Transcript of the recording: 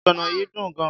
Ogbono yìí dùn gan.